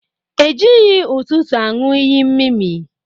E jịghị ụtụtụ anu iyi mmịmị.